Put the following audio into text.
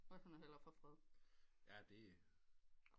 Så måtte den hellere få fred